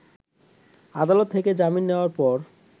আদালত থেকে জামিন নেয়ার পর